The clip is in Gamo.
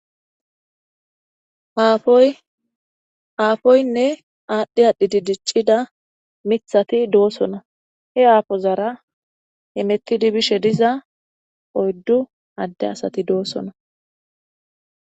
Apoyinne adhi adhi dicida mithati dosona. He apozara hamutidi bishe diza oydu Ade asati dosona.